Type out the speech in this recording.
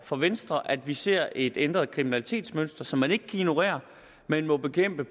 for venstre at vi ser et ændret kriminalitetsmønster som man ikke kan ignorere man må bekæmpe